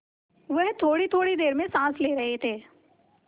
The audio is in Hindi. वह थोड़ीथोड़ी देर में साँस ले रहे थे